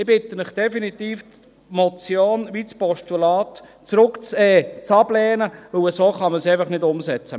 – Ich bitte Sie definitiv, die Motion wie auch das Postulat abzulehnen, denn so kann man es einfach nicht umsetzen.